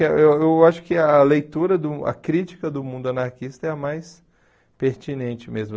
Eu eu eu acho que a leitura do, a crítica do mundo anarquista é a mais pertinente mesmo.